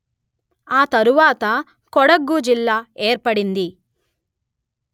ఆ తరువాత కొడగు జిల్లా ఏర్పడింది